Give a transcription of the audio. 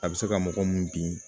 A bɛ se ka mɔgɔ mun bin